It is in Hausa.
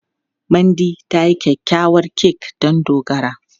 Mandy ta yi kyakkyawar kek don Dogara.